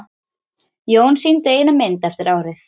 Jón sýndi eina mynd eftir árið.